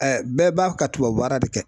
bɛɛ b'a ka tubabu baara de kɛ